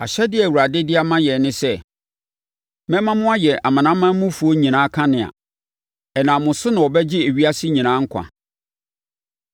Ahyɛdeɛ a Awurade de ama yɛn ne sɛ, “‘Mɛma mo ayɛ amanamanmufoɔ nyinaa kanea; ɛnam mo so na wɔbɛgye ewiasefoɔ nyinaa nkwa.’ ”